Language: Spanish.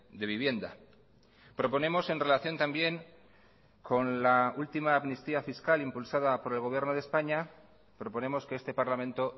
de vivienda proponemos en relación también con la última amnistía fiscal impulsada por el gobierno de españa proponemos que este parlamento